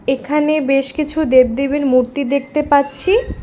এখানে বেশ কিছু দেবদেবীর মূর্তি দেখতে পাচ্ছি।